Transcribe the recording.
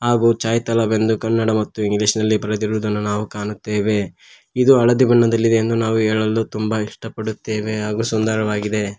ಇದು ಚಾಯ್ ತಲಬ್ ಎಂದು ಕನ್ನಡ ಮತ್ತು ಇಂಗ್ಲಿಷ್ ನಲ್ಲಿ ಬರೆದಿರುದನ್ನು ನಾವು ಕಾಣುತ್ತೇವೆ ಇದು ಹಳದಿ ಬಣ್ಣದಲ್ಲಿ ಇದೆ ಎಂದು ಹೇಳಲು ತುಂಬ ಇಷ್ಟ ಪಡುತ್ತೇವೆ ಹಾಗೂ ಸುಂದರವಾಗಿದೆ.